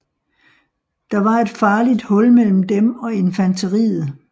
Der var et farligt hul mellem dem og infanteriet